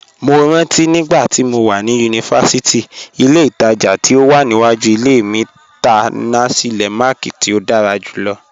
Mó rántí nígbàtí mó wà ni yunífásítì, ìlẹ̀ ìtaja tí ó wà níwàjú ìlẹ̀ mi tá nasi lemak tí ó dára júlọ̀.